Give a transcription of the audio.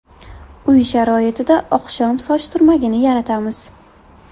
Uy sharoitida oqshom soch turmagini yaratamiz.